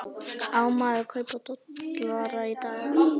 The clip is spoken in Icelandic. Á maður að kaupa dollara í dag?